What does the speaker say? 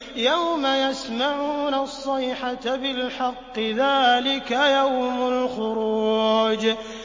يَوْمَ يَسْمَعُونَ الصَّيْحَةَ بِالْحَقِّ ۚ ذَٰلِكَ يَوْمُ الْخُرُوجِ